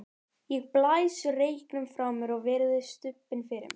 Ég blæs reyknum frá mér og virði stubbinn fyrir mér.